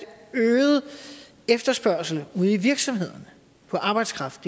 øget efterspørgsel ude i virksomhederne på arbejdskraft